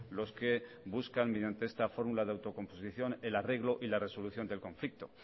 los que buscan mediante esta fórmula de autocomposición el arreglo y la resolución del conflicto